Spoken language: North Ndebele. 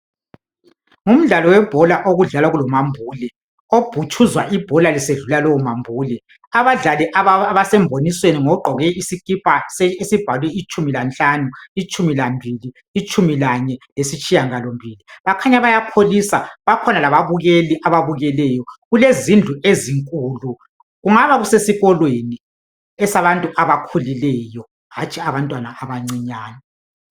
Ngumdlalo webhola, okudlalwa kulomambule. Obhutshuzwa ibhola, lisedlula lowomambule. Abadlali abasembonisweni ngogqoje isikipa esibhalwe itshumi lanhlanu, itshumi lambili, itshumi lane, lesitshiyangalombili. Bakhanya bayakholisa! Kukhoga lababukeli, ababukeleyo. Kulezindlu ezinkulu.,Kungaba kusesikolweni. Esabantu abakhulileyo, hatshi abantwana abancinyane, ,